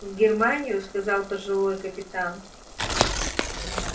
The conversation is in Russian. в германию сказал пожилой капитан